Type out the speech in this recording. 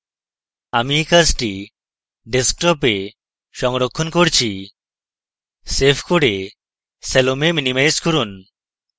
আমি এই কাজটি ডেস্কটপে সংরক্ষণ করছি save করে salome minimize করুন